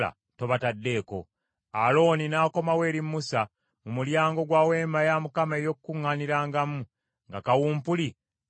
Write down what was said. Alooni n’akomawo eri Musa mu mulyango gwa Weema ey’Okukuŋŋaanirangamu, nga kawumpuli amaze okuziyizibwa.